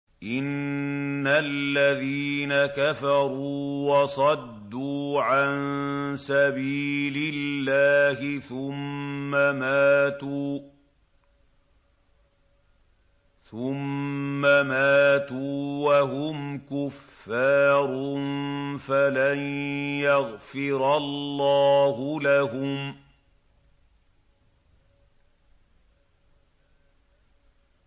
إِنَّ الَّذِينَ كَفَرُوا وَصَدُّوا عَن سَبِيلِ اللَّهِ ثُمَّ مَاتُوا وَهُمْ كُفَّارٌ فَلَن يَغْفِرَ اللَّهُ لَهُمْ